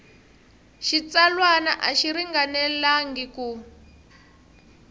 xitsalwana a xi ringanelangi ku